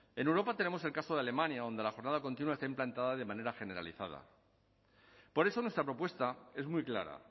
en europa tenemos el caso de alemania donde la jornada continua está implantada de manera generalizada por eso nuestra propuesta es muy clara